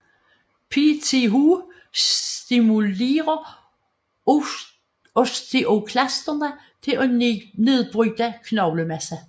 PTH stimulurer osteoklasterne til at nedbryde knoglemasse